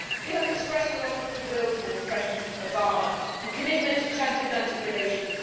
We have expressed a lot of goodwill towards President Obama and commitment to transatlantic relations.